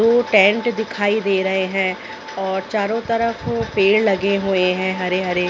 दो टेन्ट दिखाई दे रहे है और चारो तरफ पेड़ लगे हुए है हरे-हरे--